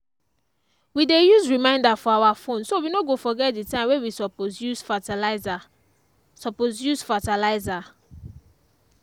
we dey use reminder for our phone so we no go forget the time wey we suppose use fertiliser. suppose use fertiliser.